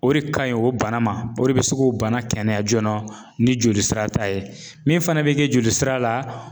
O de ka ɲi o bana ma o de bɛ se k'o bana kɛnɛya joona ni jolisira ta ye min fana bɛ kɛ jolisira la.